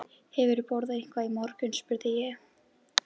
Hefurðu borðað eitthvað í morgun? spurði ég.